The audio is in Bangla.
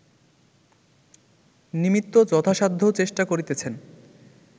নিমিত্ত যথাসাধ্য চেষ্টা করিতেছেন